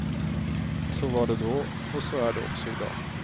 Så var det då och så är det också idag.